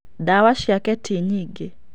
Ndawa ciake tinyingĩ.